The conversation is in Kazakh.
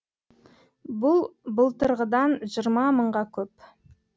бұл былтырғыдан жиырма мыңға көп